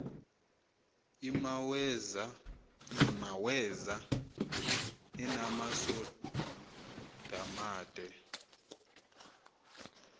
imaweza inamasond amade